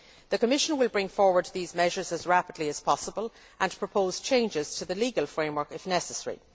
The Commission will bring forward these measures as rapidly as possible and propose changes to the legal framework if necessary.